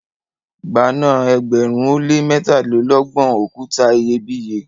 gba na ẹgbẹrin o le mẹtalelọgbọn okuta iyebiye!